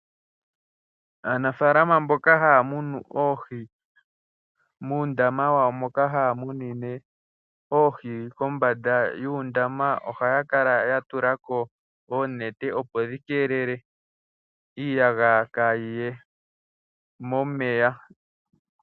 Aanafalama mboka haya munu oohi, muundama wawo moka haya munine oohi, kombada yuundama ohaya kala yatulako oonete opo dhi keelele iiyagaya kaayiye momeya.